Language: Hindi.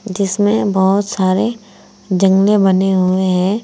जिसमे बहुत सारे जंगले बने हुए हैं।